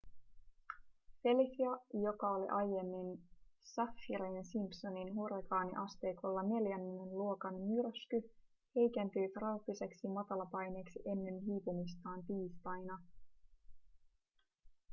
felicia joka aiemmin oli saffirin-simpsonin hurrikaaniasteikolla neljännen luokan myrsky heikentyi trooppiseksi matalapaineeksi ennen hiipumistaan tiistaina